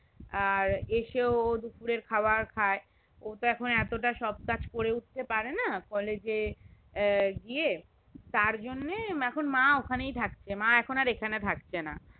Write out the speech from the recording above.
আর এসেও ও দুপুরের খাবার খেয়ে ও তো এখনো এত সবকাজ করে উঠতে পারেনা college গিয়ে তার জন্যই মা ওখানেই থাকছে মা এখন আর এখানে থাকছেনা